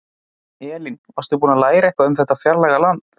Elín: Varstu búin að læra eitthvað um þetta fjarlæga land?